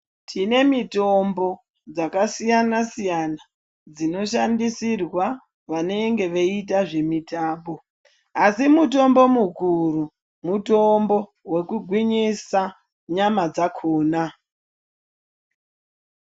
Tine mitombo dzakasiyana-siyana dzinoshandisirwa vanenge veiita zvemitambo, asi mutombo mukuru mutombo wekugwinyisa nyama dzakhona.